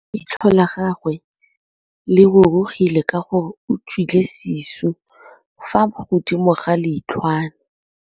Leitlhô la gagwe le rurugile ka gore o tswile sisô fa godimo ga leitlhwana.